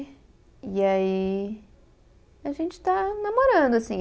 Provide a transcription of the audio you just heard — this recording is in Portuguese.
E aí, a gente está namorando, assim.